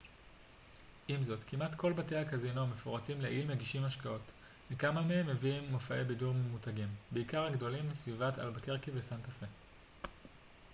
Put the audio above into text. עם זאת כמעט כל בתי הקזינו המפורטים לעיל מגישים משקאות וכמה מהם מביאים מופעי בידור ממותגים בעיקר הגדולים מסביבת אלבקרקי וסנטה פה